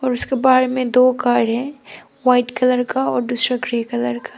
और उसका बाहर में दो कार हैं व्हाइट कलर का और दूसरा ग्रे कलर का।